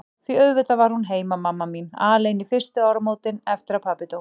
Því auðvitað var hún heima, mamma mín, alein fyrstu áramótin eftir að pabbi dó.